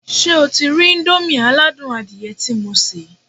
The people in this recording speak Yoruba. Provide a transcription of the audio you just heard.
Ṣé o ti rí íńdómì aládùn adìyẹ tí mo sè?